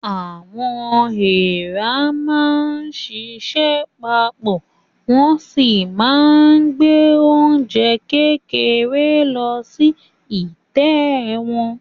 Àwọn èèrà á máa ṣiṣẹ́ pa pọ̀, wọ́n o sì máa gbé oúnjẹ kéékèèké lọ sí ìtẹ́ wọn.